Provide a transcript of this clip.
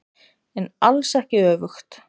En alls ekki öfugt.